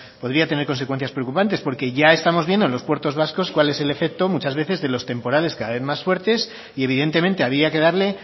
podría tener consecuencias preocupantes porque ya estamos viendo en los puertos vascos cuál es el efecto muchas veces de los temporales cada vez más fuertes y evidentemente había que darle